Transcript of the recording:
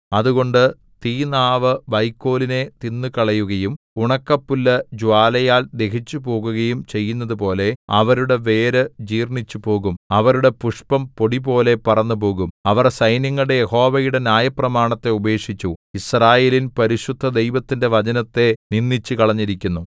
അതുകൊണ്ട് തീനാവു വൈക്കോലിനെ തിന്നുകളയുകയും ഉണക്കപ്പുല്ല് ജ്വാലയാൽ ദഹിച്ചുപോകുകയും ചെയ്യുന്നതുപോലെ അവരുടെ വേര് ജീർണ്ണിച്ചുപോകും അവരുടെ പുഷ്പം പൊടിപോലെ പറന്നുപോകും അവർ സൈന്യങ്ങളുടെ യഹോവയുടെ ന്യായപ്രമാണത്തെ ഉപേക്ഷിച്ചു യിസ്രായേലിൻ പരിശുദ്ധദൈവത്തിന്റെ വചനത്തെ നിന്ദിച്ചുകളഞ്ഞിരിക്കുന്നു